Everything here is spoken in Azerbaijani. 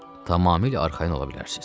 Tamamilə arxayın ola bilərsiniz.